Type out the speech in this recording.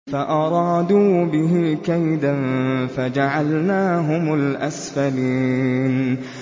فَأَرَادُوا بِهِ كَيْدًا فَجَعَلْنَاهُمُ الْأَسْفَلِينَ